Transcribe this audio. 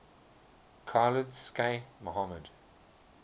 khalid sheikh mohammed